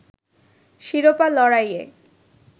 শিরোপা লড়াইয়ে